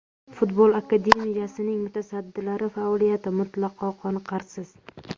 Futbol akademiyasining mutasaddilari faoliyati mutlaqo qoniqarsiz.